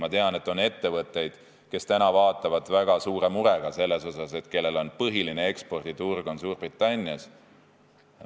Ma tean, et on ettevõtteid, kes vaatavad seda väga suure murega, sest nende põhiline eksporditurg on Suurbritannias.